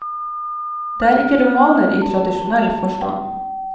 Det er ikke romaner i tradisjonell forstand.